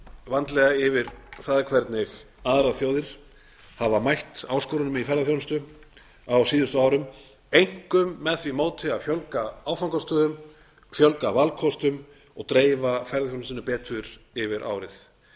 vandlega yfir það hvernig aðrar þjóðir hafa mætt áskorunum í ferðaþjónustu á síðustu árum einkum með því móti að fjölga áfangastöðum fjölga valkostum og dreifa ferðaþjónustunni betur yfir árið